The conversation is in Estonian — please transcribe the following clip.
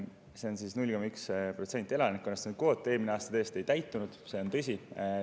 See on 0,1% elanikkonnast, see kvoot eelmine aasta tõesti ei täitunud, see on tõsi.